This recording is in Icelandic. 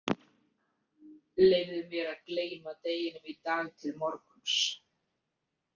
Leyfðu mér að gleyma deginum í dag til morguns.